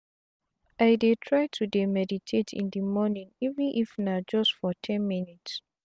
i dey try to dey meditate in de mornin even if na just for ten minutes.